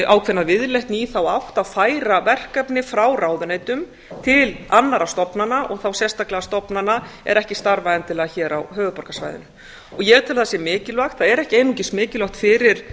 ákveðna viðleitni í þá átt að færa verkefni frá ráðuneytum til annarra stofnana og þá sérstaklega stofnana er ekki starfa endilega hér á höfuðborgarsvæðinu og ég tel að það sé mikilvægt það er ekki einungis mikilvægt fyrir